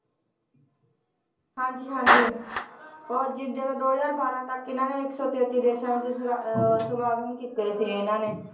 ਹਾਂਜੀ ਹਾਂਜੀ ਉਹ ਜ~ ਜਦੋਂ ਦੋ ਹਜ਼ਾਰ ਬਾਰਾਂ ਤੱਕ ਇਹਨਾਂ ਨੇ ਇੱਕ ਸੋ ਤੇਤੀ ਦੇਸਾਂ ਵਿੱਚ ਸਮਾ~ ਉਹ ਸਮਾਗਮ ਕੀਤੇ ਸੀ ਇਹਨਾਂ ਨੇ,